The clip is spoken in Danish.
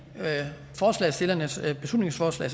forslagsstillernes beslutningsforslag